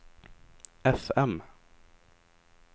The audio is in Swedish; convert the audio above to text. fm